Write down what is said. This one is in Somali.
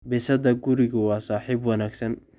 Bisadda gurigu waa saaxiib wanaagsan.